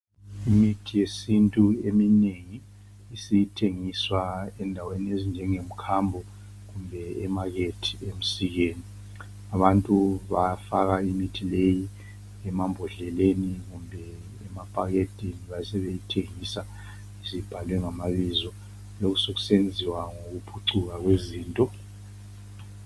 Imithi yesintu eminengi, isithengiswa endaweni ezinjengemkhambo, emakethe kumbe emsikeni. Abantu bayafaka imithi leyi emambodleleni kumbe emaphaketheni. Lokhu sekusenziwa nyokuphucuka kwezinto.